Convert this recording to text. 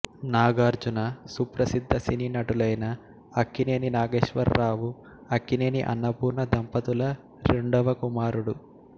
నాగార్జున సుప్రసిద్ధ సినీ నటులైన అక్కినేని నాగేశ్వర రావు అక్కినేని అన్నపూర్ణ దంపతుల రెండవ కుమారుడు